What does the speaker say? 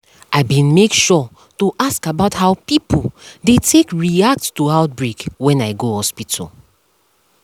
i been make sure to ask about how pipo dey take react to outbreak when i go hospital